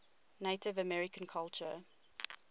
native american culture